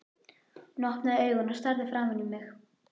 Hún opnaði augun og starði framan í mig.